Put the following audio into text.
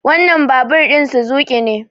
wannan babur ɗin Suzuki ne